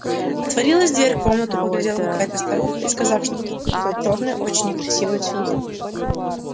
отворилась дверь в комнату поглядела какая-то старуха и сказав что-то впустила чёрную очень некрасивую свинью